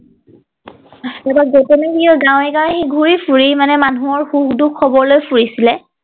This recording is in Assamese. তাৰ পৰা গৌতমে গাঁৱে গাঁৱে সি ঘূৰি ফুৰি মানে মানুহৰ সুখ দুখ খবৰ লৈ ফুৰিছিলে